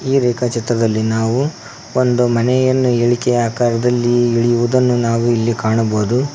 ಈ ರೇಖಾ ಚಿತ್ರದಲ್ಲಿ ನಾವು ಒಂದು ಮನೆಯನ್ನು ಇಳಿಕೆ ಆಕಾರದಲ್ಲಿ ಇಳಿಯುವುದನ್ನು ನಾವು ಇಲ್ಲಿ ಕಾಣಬಹುದು.